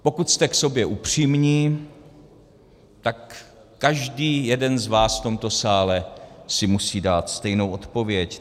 Pokud jste k sobě upřímní, tak každý jeden z vás v tomto sále si musí dát stejnou odpověď.